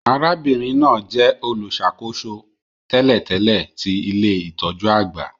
Arábìnrin náà jẹ olùṣàkóso tẹ́lẹ̀tẹ́lẹ̀ ti ilé-itọju àgbà